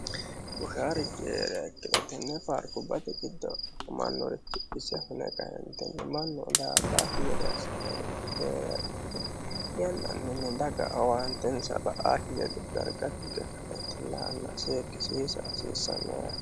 Buusharichi heeriha ikkiro tenne paarikkubatte giddo hunannorichi ise hune kaenitini mannu daa'atakki gede assanori heeriha ikkiro yannani dagga owannittesa ba'akki gede dariga tuge kaenitini la'ana seekisisa hasisanno yaatte